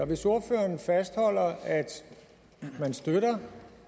hvis ordføreren fastholder at man støtter